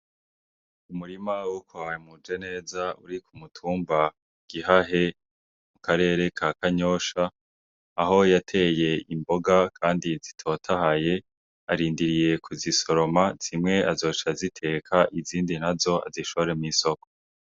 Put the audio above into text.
Umurima wukohawe muje neza uri ku mutumba gihahe mu karere ka kanyosha aho yateye imboga, kandi zitotahaye arindiriye ku zisoroma zimwe azoca ziteka izindi na zo azishore mo'isoko.